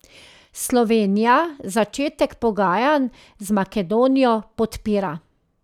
Slovenija začetek pogajanj z Makedonijo podpira.